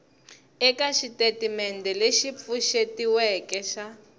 eka xitatimendhe lexi pfuxetiweke xa